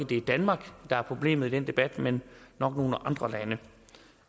det er danmark der er problemet i den debat men nok nogle andre lande